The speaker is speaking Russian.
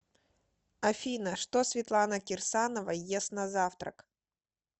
афина что светлана кирсанова ест на завтрак